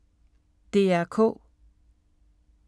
DR K